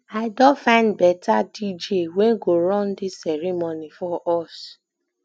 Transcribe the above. i don find beta dj wey go run dis ceremony for us